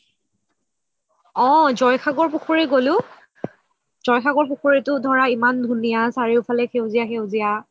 অহ জয়সাগৰ পুখুৰী গ'লো, জয়সাগৰ পুখুৰীটো ধৰা ইমান ধুনিয়া চাৰিওফালে সেউজীয়া সেউজীয়া